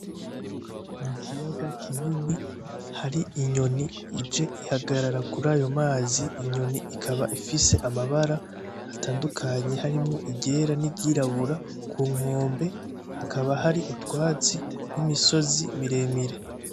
Ikiyaga kinini hari inyoni ije ihagarara kurayo mazi, inyoni ikaba ifise amabara atandukanye, harimwo iryera n 'iryirabura. Ku nkombe, hakaba hari utwatsi n'imisozi miremire.